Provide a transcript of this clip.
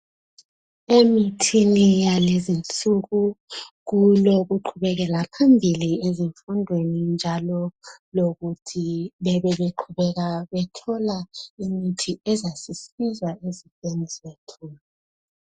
Emithini yalezinsuku kulokuqhubekela phambili ezifundweni njalo lokuthi bebe beqhubeka bethola imithi ezasisiza ezintweni zethu.